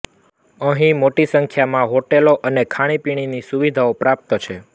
અહીં મોટી સંખ્યામાં હોટેલ અને ખાણીપીણીની સુવિધાઓ પ્રાપ્ત છે